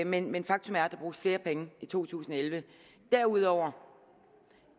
men men faktum er at der bruges flere penge i to tusind og elleve derudover